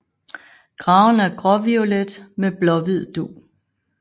Farven er gråviolet med blåhvid dug